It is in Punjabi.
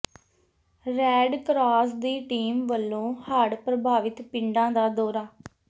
ਰੈਡ ਕਰਾਸ ਦੀ ਟੀਮ ਵੱਲੋਂ ਹੜ੍ਹ ਪ੍ਰਭਾਵਿਤ ਪਿੰਡਾਂ ਦਾ ਦੌਰਾ